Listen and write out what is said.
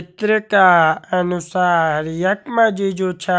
ये चित्र का अनुसार यख मा जी जु छा